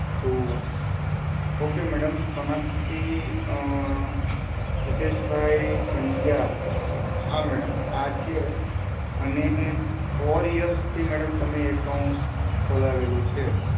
two one. Okay madam, સ્થનકથી અ હિતેશ ભાઈ પંડયા, હાં madam, આ છે અને four year થી madam તમે account ખોલાવેલું છે.